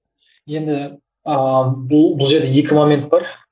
енді ыыы бұл бұл жерде екі момент бар